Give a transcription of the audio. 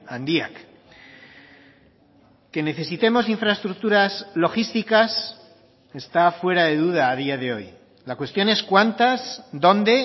handiak que necesitemos infraestructuras logísticas está fuera de duda a día de hoy la cuestión es cuántas dónde